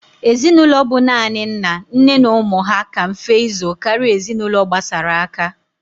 Ezinulo bu nani nna, nne na umu ha ka mfe ịzụ kara ezinulo gbasara aka.